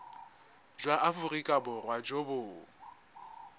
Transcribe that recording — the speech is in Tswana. jwa aforika borwa jo bo